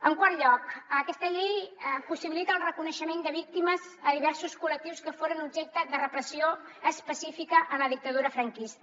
en quart lloc aquesta llei possibilita el reconeixement de víctimes a diversos col·lectius que foren objecte de repressió específica en la dictadura franquista